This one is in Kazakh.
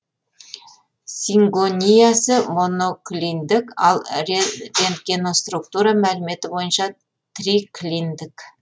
сингониясы моноклиндік ал рентгеноструктура мәліметі бойынша триклиндік